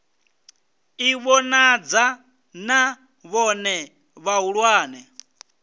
ḓi vhonadza na vhone vhahulwane